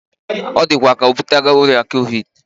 Odikwa ka obutara oria Covid